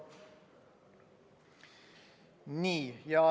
Nii.